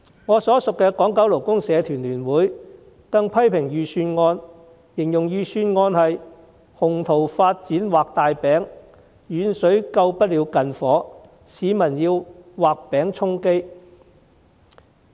我所屬的港九勞工社團聯會更批評預算案是"鴻圖發展畫大餅，遠水救不了近火，市民要畫餅充飢"。